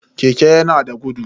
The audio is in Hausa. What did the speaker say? Keke yana da gudu.